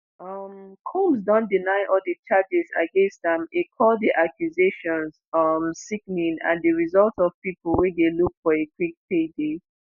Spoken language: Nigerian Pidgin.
um combs don deny all di charges against am e call di accusations um "sickening" and di result of pipo wey dey look for a "quick payday".